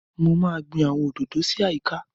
Mo máa gbin àwọn òdòdó sí àyíká